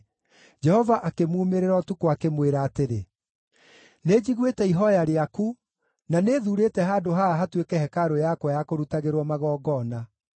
Jehova akĩmuumĩrĩra ũtukũ, akĩmwĩra atĩrĩ: “Nĩnjiguĩte ihooya rĩaku, na nĩthuurĩte handũ haha hatuĩke hekarũ yakwa ya kũrutagĩrwo magongona.